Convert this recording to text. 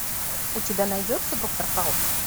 у тебя найдется доктор хаус